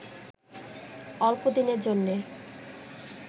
অল্পদিনের জন্যে